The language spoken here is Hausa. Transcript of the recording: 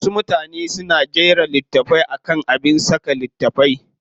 Wasu mutanen na jira littafi akan abin saka littafai.